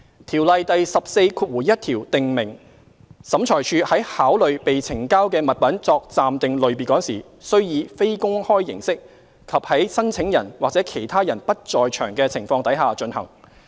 《條例》第141條訂明審裁處在考慮被呈交的物品作暫定類別時，須以非公開形式及在申請人或其他人不在場的情況底下進行。